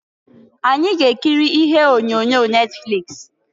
Anyị ga-ekiri ihe onyonyo Netfliks.